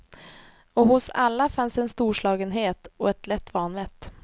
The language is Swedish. Och hos alla fanns en storslagenhet och ett lätt vanvett.